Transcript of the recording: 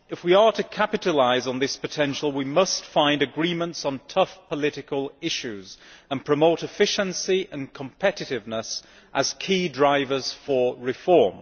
If we are to capitalise on this potential, we must find agreements on tough political issues and promote efficiency and competitiveness as key drivers for reform.